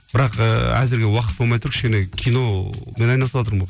бірақ ыыы әзірге уақыт болмай тұр кішкене киномен айналысыватырмын